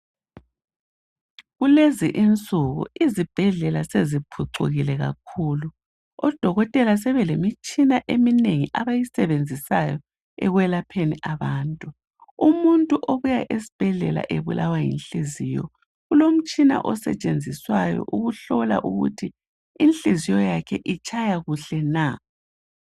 Kulezinsuku izibhedlela sebephucukile kakhulu. Odokotela sebelemitshina eminengi abayisebenzisayo ekwalapheni abantu. Umuntu obuya esibhedlela ebulawa yinhliziyo ulomtshina osetshenziswayo ukuhlola ukuthi inhliziyo yakhe itshaya kuhle na.